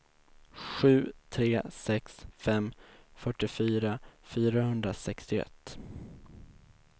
sju tre sex fem fyrtiofyra fyrahundrasextioett